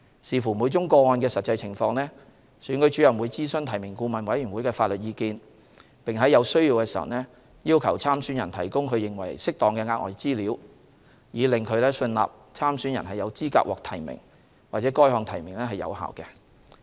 視乎每宗個案的實際情況，選舉主任會諮詢提名顧問委員會的法律意見，並在有需要時要求參選人提供其認為適當的額外資料，以令其信納參選人有資格獲提名或該項提名是有效的。